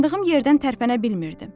Dayandığım yerdən tərpənə bilmirdim.